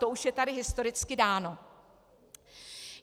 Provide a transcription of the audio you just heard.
To už je tady historicky dáno.